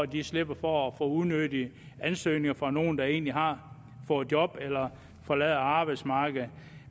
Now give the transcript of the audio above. de slipper for at få unødige ansøgninger fra nogle der egentlig har fået job eller forlader arbejdsmarkedet